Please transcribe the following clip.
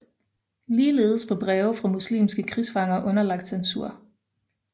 Ligeledes blev breve fra muslimske krigsfanger underlagt censur